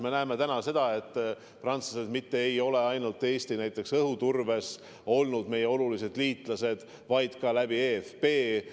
Me näeme täna, et prantslased ei ole olnud meie olulised liitlased mitte ainult õhuturbes, vaid ka eFP kaudu.